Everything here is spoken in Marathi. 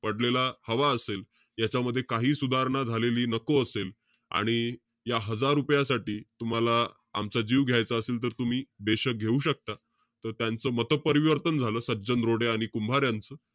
पडलेला हवा असेल, यांच्यामध्ये काहीही सुधारणा झालेली नको असेल. आणि या हजार रुपयांसाठी, तुम्हाला आमचा जीव घायचा असेल तर तुम्ही घेऊ शकता. त त्यांचं मतपरिवर्तन झालं. सज्जन रोडे आणि कुंभार यांचं.